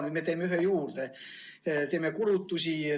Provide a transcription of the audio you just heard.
Nüüd me teeme ühe juurde, teeme kulutusi.